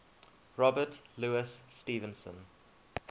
robert louis stevenson